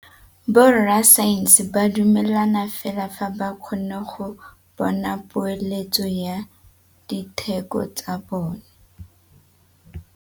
Borra saense ba dumela fela fa ba kgonne go bona poeletsô ya diteko tsa bone.